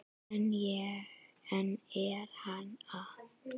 En er hann það?